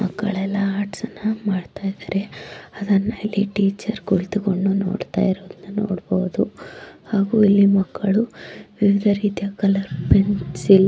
ಮಕ್ಕಳೆಲ್ಲ ಆರ್ಟ್ಸ್ ಅಣ್ಣ ಮಾಡ್ತಾ ಇದ್ದಾರೆ ಅದನ್ನ ಇಲ್ಲಿ ಟಿಚರ್ ಕುಳಿತ್ಕೊಂಡು ನೋಡತಾ ಇರೋದನ್ನ ನೋಡಬಹುದು ಹಾಗೂ ಈ ಮಕ್ಕಳು ವಿವಿದ್ ರಿತಿಯಾ ಕಲಾ---